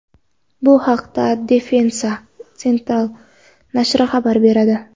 Bu haqda Defensa Central nashri xabar beradi .